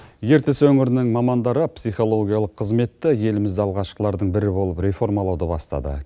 ертіс өңірінің мамандары психологиялық қызметті еліміз алғашқылардың бірі болып реформалауды бастады